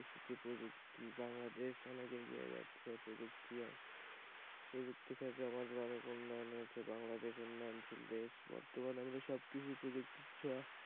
এই প্রযুক্তিতে বাংলাদেশ অনেক এগিয়ে যাচ্ছে এই প্রযুক্তির সাথে আমাদের অনেক উন্নয়ন হয়েছে বাংলাদেশ উন্নয়নশীল দেশ বর্তমানে আমরা সবকিছু প্রযুক্তির ছোঁয়া,